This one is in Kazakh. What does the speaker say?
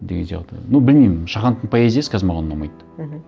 деген сияқты ну білмеймін шахановтың поэзиясы қазір маған ұнамайды мхм